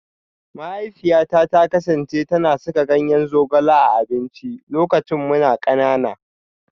Mahaifiyata ta kasance tana saka ganyen zogale a abinci lokacin muna kanana